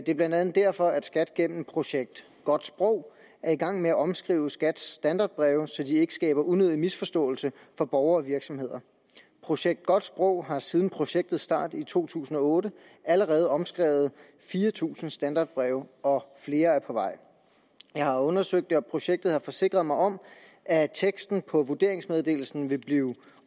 er blandt andet derfor at skat gennem projekt godt sprog i er i gang med at omskrive skats standardbreve så de ikke skaber unødige misforståelser for borgere og virksomheder projekt godt sprog har siden projektets start i to tusind og otte allerede omskrevet fire tusind standardbreve og flere er på vej jeg har undersøgt det og projektet har forsikret mig om at teksten på vurderingsmeddelelsen vil blive